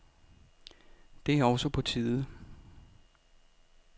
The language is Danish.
Det er også på tide.